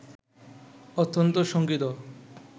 অত্যন্ত শঙ্কিত